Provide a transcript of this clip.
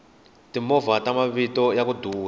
timovha ta mavito yaku duma